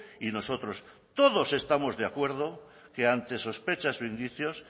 y nosotros todos estamos de acuerdo que ante sospechas o indicios